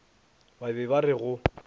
ba be ba re go